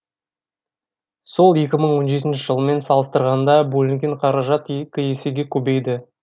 сол екі мың он жетінші жылмен салыстырғанда бөлінген қаражат екі есеге көбейді